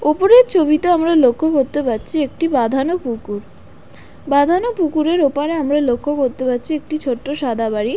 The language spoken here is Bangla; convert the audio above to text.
ওপরের ছবিতে আমরা লক্ষ্য করতে পারছি একটি বাঁধানো পুকুর বাঁধানো পুকুরের ওপারে আমরা লক্ষ্য করতে পারছি একটি ছোট্ট সাদা বাড়ি।